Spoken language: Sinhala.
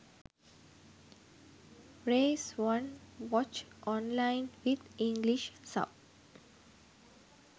race 1 watch online with english sub